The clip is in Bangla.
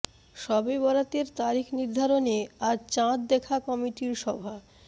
শবে বরাতের তারিখ নির্ধারণে আজ চাঁদ দেখা কমিটির সভা